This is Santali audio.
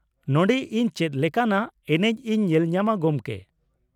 ᱱᱚᱸᱰᱮ ᱤᱧ ᱪᱮᱫ ᱞᱮᱠᱟᱱᱟᱜ ᱮᱱᱮᱡ ᱤᱧ ᱧᱮᱞ ᱧᱟᱢᱟ, ᱜᱚᱢᱠᱮ ?